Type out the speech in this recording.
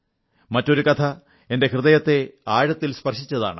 മറ്റൊരു കഥ എന്റെ ഹൃദയത്തെ ആഴത്തിൽ സ്പർശിച്ചതാണ്